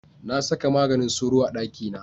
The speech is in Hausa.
Na saka maganin sauro a ɗakina.